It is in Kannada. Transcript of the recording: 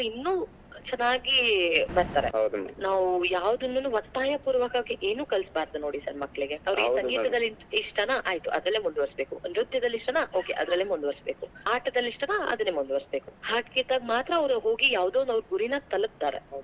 ಅವ್ರು ಇನ್ನು ಚನ್ನಾಗಿ ಬರ್ತಾರೆ ನಾವೂ ಯಾವದನ್ನನ್ನು ಒತ್ತಾಯ ಪೂರ್ವಕವಾಗಿ ಏನು ಕಲಿಸಬಾರ್ದು ನೋಡಿ sir ಮಕ್ಕಳಿಗೆ, ಅವ್ರಿಗೆ ಸಂಗೀತದಲ್ಲಿ ಇಷ್ಟನಾ, ಆಯಿತು ಅದರಲ್ಲೇ ಮುಂದವರ್ಸ್ಬೇಕು. ನೃತ್ಯದಲ್ಲಿ ಇಷ್ಟಾನಾ Okay ಅದರಲ್ಲೇ ಮುಂದವರೆಸಬೇಕು ಆಟದಲ್ಲಿ ಇಷ್ಟನಾ ಅದನ್ನೇ ಮುಂದೆವರೆಸಬೇಕು ಹಾಗಿದ್ದಾಗ್ ಮಾತ್ರ ಅವ್ರು ಹೋಗಿ ಯಾವದೋ ಅವ್ರ್ ಗುರಿನಾ ತಲಪತಾರೆ.